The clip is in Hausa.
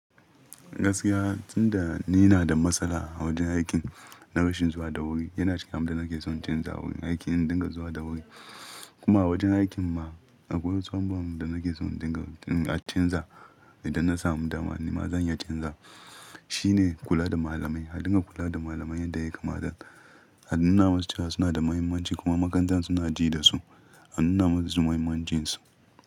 Gaskiya, tun da ni ina da matsala a wajen aikin na rashin zuwa da wuri, yana shigar da nake son in canza wurin aiki in dinga zuwa da wuri. Kuma a wajen aikin ma akwai wasu abu da nake so in dinga a canza idan na samu dama, nima zan iya canza. Shi ne kula da malamai. A dinga kula da malamai yadda ya kamata Anuna masu cewa suna da muhimmanci kuma makarantan suna ji da su. Anuna masu su muhimman cin su.